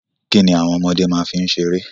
Kíni àwon ọmọdé fi n seré?